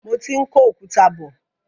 Mo ti ń kó òkúta bọ.